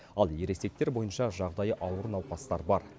ал ересектер бойынша жағдайы ауыр науқастар бар